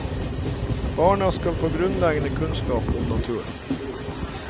Barna skal få grunnleggende kunnskap om naturen.